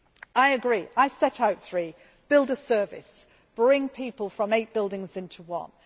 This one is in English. I agree, I set out three build a service bring people from eight buildings into one